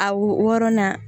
A wo wɔɔrɔnan